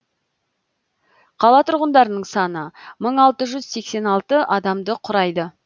қала тұрғындарының саны мың алты жүз сексен алты адамды құрайды